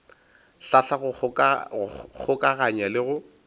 hlahla go kgokaganya le go